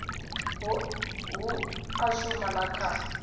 hu a shuma na kha